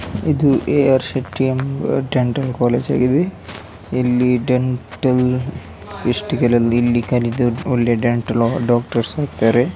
ಇದು A R Shetty ಎಂಬ dental college (. ಇಲ್ಲಿ. ಇಲ್ಲಿ ಡೆಂಟಲ್ ಲಿಸ್ಟ್ ಗಳಲ್ಲಿ ಇಲ್ಲಿ ಕಲಿತು ಒಳ್ಳೆ ಡೆಂಟಲ್ ಡಾಕ್ಟರ್ಸ್ ಆಗ್ತಾರೆ.